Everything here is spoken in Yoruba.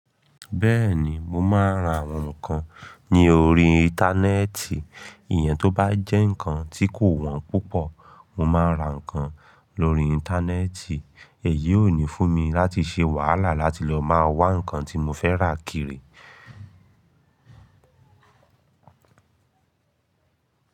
Bẹ́ẹ̀ni, mo máa ń ra àwọn nǹkan ní orí Íńtánẹ́ẹ̀tì. Ìyẹn tó bá jẹ́ nǹkan tí kò wọ́n púpọ̀, mo máa ra nǹkan lórí Íńtánẹ́ẹ̀tì. Èyí ó ní fún mi láti ṣe wàhálà láti lọ máa wá nǹkan tí mo fẹ́ rà kiri.